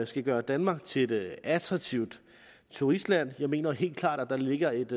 skal gøre danmark til et attraktivt turistland jeg mener helt klart at der ligger et